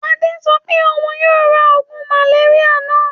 Adé sọ pé òun yóò ra oògùn màléríà náà?